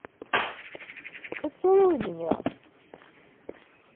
поцелуй меня